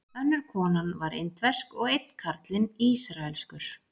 Önnur konan var indversk og einn karlinn ísraelskur.